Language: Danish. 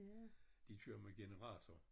De kører med generator